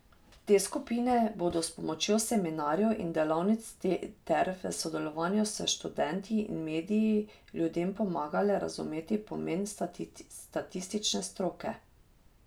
Te skupine bodo s pomočjo seminarjev in delavnic ter v sodelovanju s študenti in mediji ljudem pomagale razumeti pomen statistične stroke.